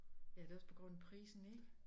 Ja det også på grund af prisen ikke